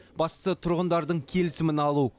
бастысы тұрғындардың келісімін алу